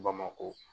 Bamakɔ